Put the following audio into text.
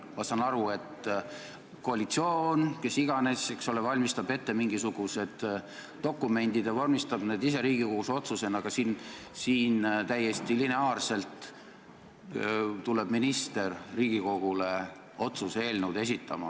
Ma saan aru, et koalitsioon, kes iganes, eks ole, valmistab ette mingisugused dokumendid ja vormistab need ise Riigikogus otsusena, aga siin täiesti lineaarselt tuleb minister Riigikogule otsuse eelnõu esitama.